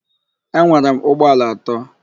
Enwere m ụgbọala atọ.